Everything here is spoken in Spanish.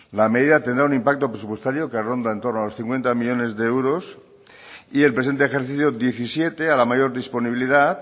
la medida tendrá un impacto presupuestario que ronda en torno a los cincuenta millónes de euros y el presente ejercicio diecisiete a la mayor disponibilidad